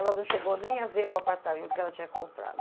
Ela não chegou nem a ver o apartamento que ela tinha comprado.